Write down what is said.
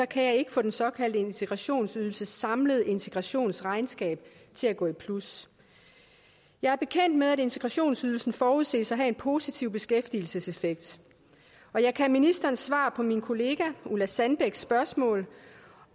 kan jeg ikke få den såkaldte integrationsydelses samlede integrationsregnskab til at gå i plus jeg er bekendt med at integrationsydelsen forudses at have en positiv beskæftigelseseffekt og jeg kan af ministerens svar på min kollega ulla sandbæks spørgsmål